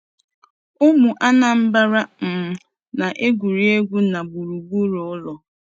Ụmụ Anambra um na-egwuri egwu n'gburugburu ụlọ.